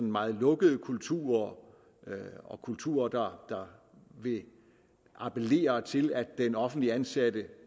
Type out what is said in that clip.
meget lukkede kulturer og kulturer der vil appellere til at den offentligt ansatte